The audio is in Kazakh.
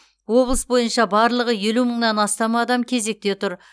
облыс бойынша барлығы елу мыңнан астам адам кезекте тұр